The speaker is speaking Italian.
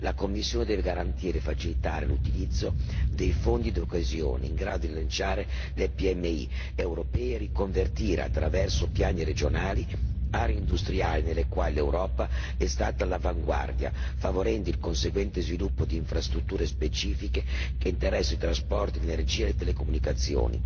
La Commissione deve garantire e facilitare l'utilizzo del Fondo di coesione in grado di rilanciare le PMI europee e riconvertire, attraverso piani regionali, aree industriali nelle quali l'Europa è stata all'avanguardia, favorendo il conseguente sviluppo di infrastrutture specifiche che interessano trasporti, energia e telecomunicazioni.